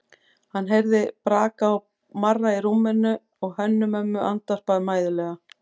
Hann heyrði braka og marra í rúminu og Hönnu-Mömmu andvarpa mæðulega.